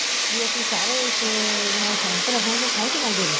ਵੀ ਅਸੀਂ ਸਾਰੇ ਇਸ ਨਾਲ ਸਹਿਮਤ ਰਹਾਗੇ ਸੋਂਹ ਚੁਕਾਦੇ ਨੇ